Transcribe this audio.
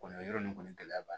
Kɔni yɔrɔ nin kɔni gɛlɛya b'a la